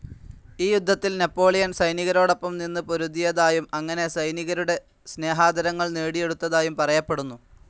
ഈ യുദ്ധത്തിൽ നാപ്പോളിയൻ സൈനികരോടൊപ്പം നിന്നു പൊരുതിയതായും അങ്ങനെ സൈനികരുടെ സ്നേഹാദരങ്ങൾ നേടിയെടുത്തതായും പറയപ്പെടുന്നു,